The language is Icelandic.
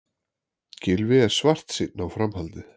Gylfi er svartsýnn á framhaldið